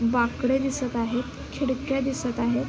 बाकडे दिसत आहेत खिडक्या दिसत आहेत.